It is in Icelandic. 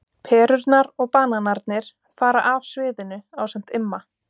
Perurnar og bananarnir fara af sviðinu ásamt Imma.